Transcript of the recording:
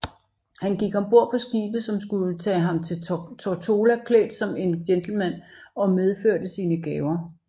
Han gik om bord på skibet som skulle tag ham til Tortola klædt som en gentleman og medførte sine gaver